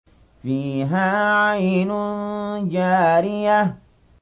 فِيهَا عَيْنٌ جَارِيَةٌ